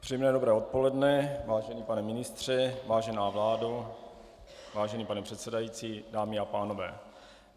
Příjemné dobré odpoledne, vážený pane ministře, vážená vládo, vážený pane předsedající, dámy a pánové.